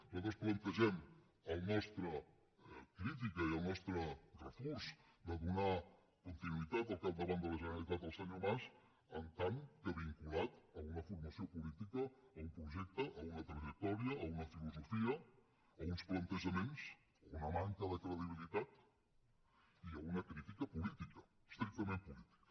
nosaltres plantegem la nostra crítica i el nostre refús de donar continuïtat al capdavant de la generalitat al senyor mas en tant que vinculat a una formació política a un projecte a una trajectòria a una filosofia a uns plantejaments a una manca de credibilitat i a una crítica política estrictament política